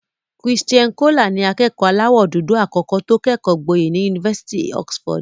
Christian Coler ni akẹ́kọ̀ọ́ aláwọ̀ dúdú àkọ́kọ́ tó kẹ́kọ̀ọ́ gboyè ní Yunifásitì Oxford.